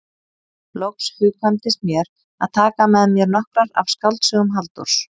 Loks hugkvæmdist mér að taka með mér nokkrar af skáldsögum Halldórs